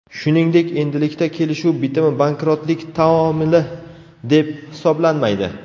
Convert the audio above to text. Shuningdek, endilikda kelishuv bitimi bankrotlik taomili deb hisoblanmaydi.